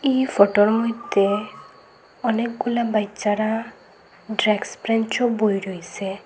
ই ফটোর মইদ্যে অনেকগুলা বাইচ্চারা ড্র্যাক্স ব্রেঞ্চও বয়ে রইসে।